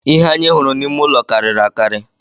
Ihe anyị hụrụ n’ime ụlọ karịrị akarị